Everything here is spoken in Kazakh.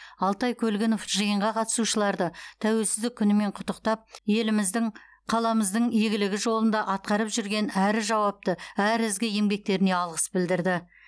алтай көлгінов жиынға қатысушыларды тәуелсіздік күнімен құттықтап еліміздің қаламыздың игілігі жолында атқарып жүрген әрі жауапты әрі ізгі еңбектеріне алғыс білдірді